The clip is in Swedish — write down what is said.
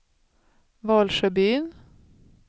Valsjöbyn